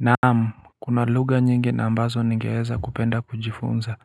Naam, kuna lugha nyingi na ambazo ningeweza kupenda kujifunza.